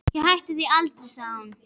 Ég hætti því aldrei, sagði hún.